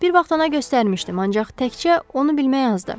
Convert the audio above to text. Bir vaxt ona göstərmişdim, ancaq təkcə onu bilmək azdır.